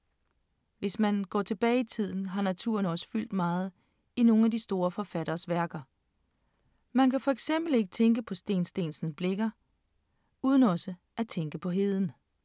Hvis man går tilbage i tiden, har naturen også fyldt meget i nogle af de store forfatteres værker. Man kan for eksempel ikke tænke på Steen Steensen Blicher uden også at tænke på heden.